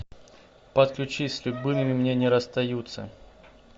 подключи с любимыми не расстаются